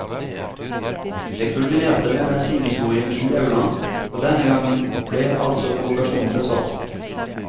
Det kulminerte med bensinhistorien i aulaen, og denne gang ble altså provokasjonen besvart.